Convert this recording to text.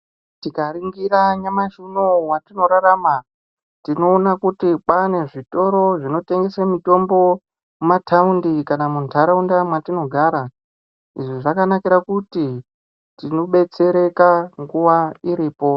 Tikaringira nyamashi unowu watinorarama tinoona kuti kwane zvitoro zvinotengese Zvinotengese mitombo mumataundi kana muntaraunda mwatinogara izvi zvakanakira kuti tinodetsereka nguwa iripo.